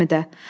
Həmidə!